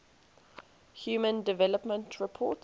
human development report